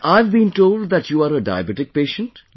Well, I have been told that you are a diabetic patient